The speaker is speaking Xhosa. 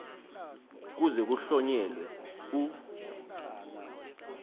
kuze kuhlonyelwe u